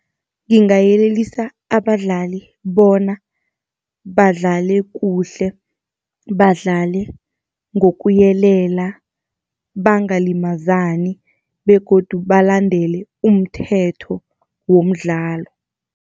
Ngingayelelisa abadlali bona, badlale kuhle, badlale ngokuyelela, bangalimazani begodu balandele umthetho womdlalo.